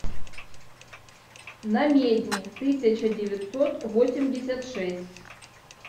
намедни тысяча девятьсот восемьдесят шесть